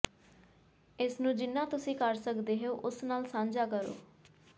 ਇਸ ਨੂੰ ਜਿੰਨਾ ਤੁਸੀਂ ਕਰ ਸਕਦੇ ਹੋ ਉਸ ਨਾਲ ਸਾਂਝਾ ਕਰੋ